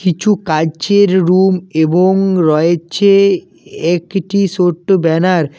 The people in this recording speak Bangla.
কিছু কাইচের রুম এবং রয়েছে একটি সোট্ট ব্যানার ।